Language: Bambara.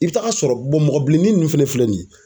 I bi taga sɔrɔ mɔgɔ bilennin nunnu fɛnɛ filɛ nin ye